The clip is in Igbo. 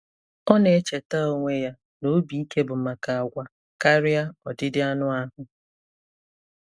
Ọ na-echeta onwe ya na obi ike bụ maka àgwà karịa ọdịdị anụ ahụ.